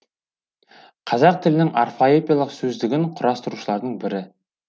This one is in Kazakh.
қазақ тілінің орфоэпиялық сөздігін құрастырушылардың бірі